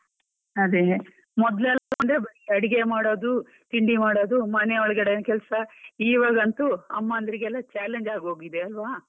ಅದೇ, ಮೊದ್ಲೆಲ್ಲಾ ಅಂದ್ರೆ ಬರಿ ಅಡಿಗೆ ಮಾಡೋದು ತಿಂಡಿ ಮಾಡೋದು ಮನೆ ಒಳಗಡೆ ಕೆಲಸ ಇವಾಗಂತೂ ಅಮ್ಮನ್ದ್ರಿಗೆಲ್ಲ challenge ಆಗೋಗಿದೆ ಅಲ್ವಾ.